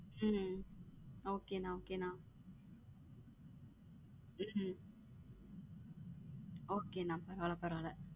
உம் okay அண்ணா okay அண்ண உம் okay அண்ணா பரவால பரவால